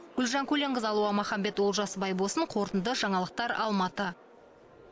гүлжан көленқызы алуа махамбет олжас байбосын қорытынды жаңалықтар алматы